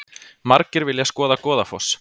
Margir vilja skoða Goðafoss